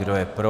Kdo je pro?